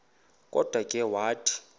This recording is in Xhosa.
kodwa ke wathi